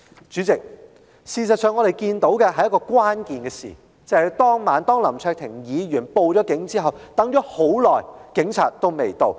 主席，我們看到的另一件關鍵事情，便是當晚在林卓廷議員報警後，警察良久亦未到場。